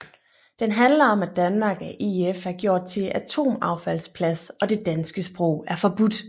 Den handler om at Danmark af EF er gjort til atomaffaldsplads og det danske sprog er forbudt